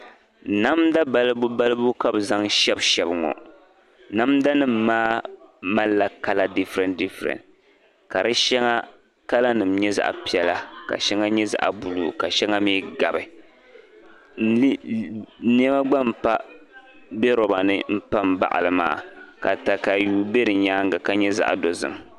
Namda balibubalibu ka bɛ zaŋ shɛbishɛbi ŋɔ. Namdanima maa malila kala difirensidifirensi ka di shɛŋa kalanima nyɛ zaɣ' piɛla ka shɛŋa nyɛ zaɣ' buluu ka shɛŋa mi gabi. Nɛma gba m-be loba m-pa m-baɣi li maa katayua be di nyaaŋga ka nyɛ zaɣ' dozim.